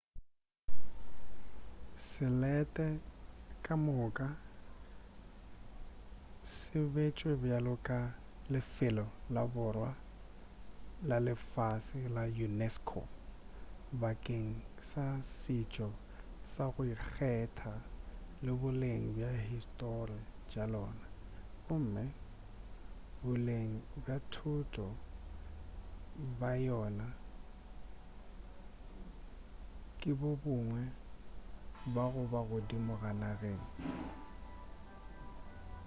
selete ka moka se betšwe bjalo ka lefelo la bohwa bja lefase la unesco bakeng sa setšo sa go ikgetha le boleng bja histori tša lona gomme boleng bja thoto ba yona ke bo bongwe ba goba godimo ka nageng